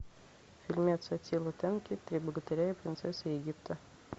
фильмец аттила тенки три богатыря и принцесса египта